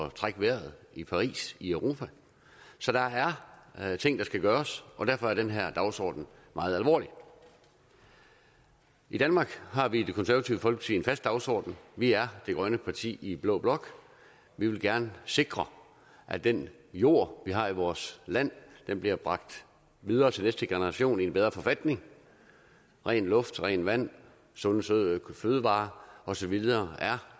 at trække vejret i paris i europa så der er ting der skal gøres og derfor er den her dagsorden meget alvorlig i danmark har vi i det konservative folkeparti dagsorden vi er det grønne parti i blå blok vi vil gerne sikre at den jord vi har i vores land bliver bragt videre til næste generation i en bedre forfatning ren luft rent vand sunde sunde fødevarer og så videre er